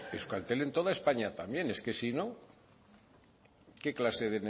pues euskaltel en toda españa también es que si no